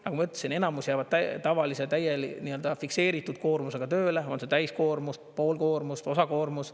Nagu ma ütlesin, enamus jäävad tavalise fikseeritud koormusega tööle, on see täiskoormus, pool koormust, osakoormus.